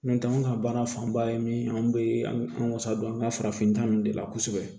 N'o tɛ anw ka baara fanba ye min an bɛ an wasa don an ka farafinta ninnu de la kosɛbɛ